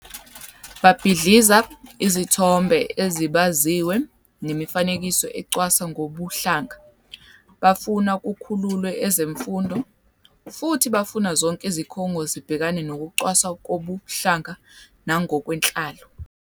Babhidliza izithombe ezibaziwe nemifanekiso ecwasa ngokobuhlanga, bafuna kukhululwe ezemfundo, futhi bafuna zonke izikhungo zibhekane nokucwaswa ngokobuhlanga nangokwenhlalo.